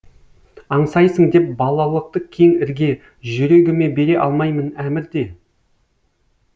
аңсайсың деп балалықты кең ірге жүрегіме бере алмаймын әмір де